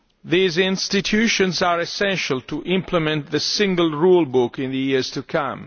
an end. These institutions are essential to implement the single rulebook in the years to